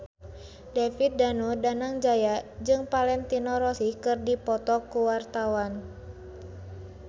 David Danu Danangjaya jeung Valentino Rossi keur dipoto ku wartawan